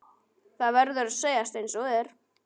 Það verður að segjast einsog er.